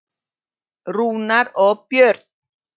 Rúnar og Björn.